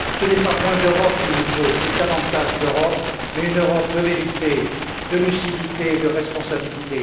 Ce n'est pas moins d'Europe qu'il nous faut, c'est davantage d'Europe, mais une Europe de vérité, de lucidité, de responsabilité.